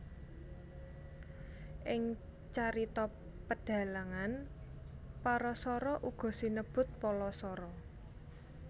Ing carita pedhalangan Parasara uga sinebut Palasara